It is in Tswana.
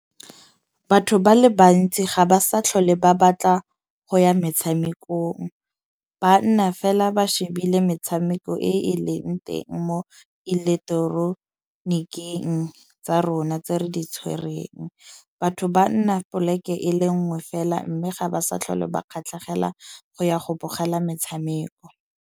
Batho ba le bantsi ga ba sa tlhole ba batla go ya metshamekong. Ba nna fela ba shebile metshameko e e leng teng mo electoroniking tsa rona tse re di tshwerweng. Batho ba nna poleke e le nngwe fela. Mme ga ba sa tlhole ba kgatlhegela go ya go bogela metshameko.